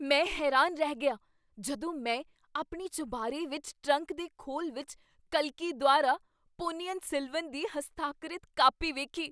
ਮੈਂ ਹੈਰਾਨ ਰਹਿ ਗਿਆ ਜਦੋਂ ਮੈਂ ਆਪਣੀ ਚੁਬਾਰੇ ਵਿੱਚ ਟਰੰਕ ਦੇ ਖੋਲ ਵਿੱਚ ਕਲਕੀ ਦੁਆਰਾ ਪੋਨੀਅਨ ਸੇਲਵਨ ਦੀ ਹਸਤਾਖਰਿਤ ਕਾਪੀ ਵੇਖੀ!